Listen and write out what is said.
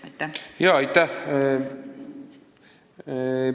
Aitäh!